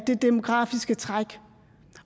det demografiske træk